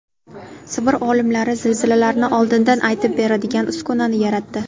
Sibir olimlari zilzilalarni oldindan aytib beradigan uskunani yaratdi.